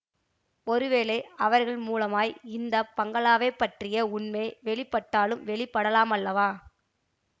ஒரு வேளை அவர்கள் மூலமாய் இந்த பங்களாவைப் பற்றிய உண்மை வெளிப்பட்டாலும் வெளிப்படலாமல்லவா